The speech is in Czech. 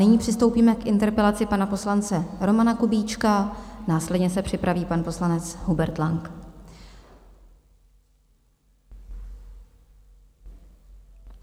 Nyní přistoupíme k interpelaci pana poslance Romana Kubíčka, následně se připraví pan poslanec Hubert Lang.